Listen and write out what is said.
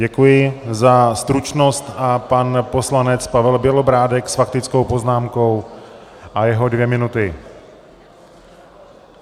Děkuji za stručnost, a pan poslanec Pavel Bělobrádek s faktickou poznámkou a jeho dvě minuty.